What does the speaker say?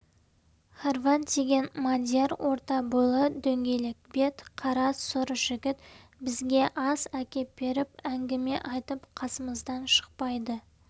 хорват деген мадияр орта бойлы дөңгелек бет қара сұр жігіт бізге ас әкеп беріп әңгіме айтып қасымыздан шықпайды